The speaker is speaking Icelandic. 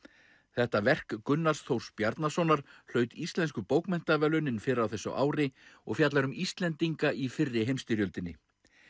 þetta verk Gunnars Þór Bjarnasonar hlaut Íslensku bókmenntaverðlaunin fyrr á þessu ári og fjallar um Íslendinga í fyrri heimsstyrjöldinni